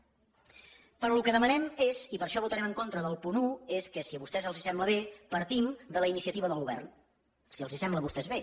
però el que demanem és i per això votarem en contra del punt un que si a vostès els sembla bé partim de la iniciativa del govern si els sembla a vostès bé